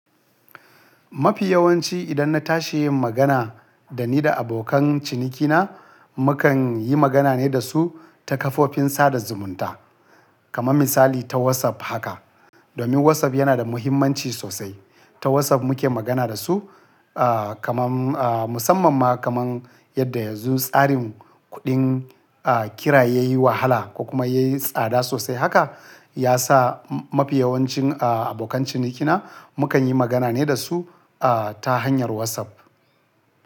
Mafi yawanci idan na tashi yin magana da ni da abokan cinikina, mukan yi magana ne da su ta kafofin sada zumunta kamar misali ta WhatsApp haka. Domin WhatsApp yana da muhimmanci sosai. Ta WhatsApp muke magana da su, ah, kaman, ah, musamman ma kaman yadda yanzu tsarin kuɗin, ah, kira ya yi wahala ko kuma ya yi tsada sosai haka, ya sa mafi yawancin, ah, abokan cinikina mukan yi magana ne da su, ah, ta hanyar WhatsApp.